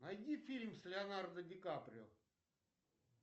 найди фильм с леонардо ди каприо